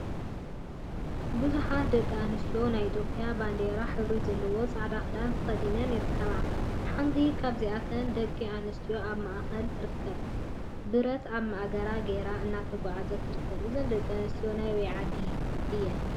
ቡዙሓት ደቂ አንስትዮ ናይ ኢትዮጵያ ባንዴራ ሕብሪ ዘለዎ ፃዕዳ ክዳን ተከዲነነ ይርከባ፡፡ ሓንቲ ካብዘን ደቂ አንስትዮ አብ ማእከለን ተረኪባ ብረት አብ ማእገራ ገይራ እናተጓዓዘት ትርከብ፡፡ እዘን ደቂ አንስትዮ ናይ አበይ ዓዲ እየን?